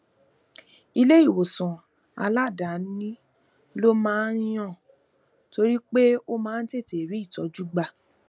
ilé ìwòsàn aladaani ló um máa ń yàn torí pé ó máa ń tètè rí ìtójú gbà